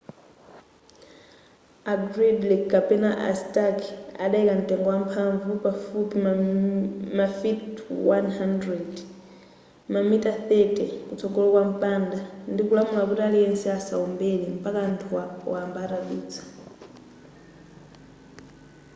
a gridley kapena a stark adayika mtengo wamphamvu pafupi mafiti 100 mamitala 30 kutsogolo kwa mpanda ndikulamula kuti aliyense asawombere mpaka anthuwa wamba atadutsa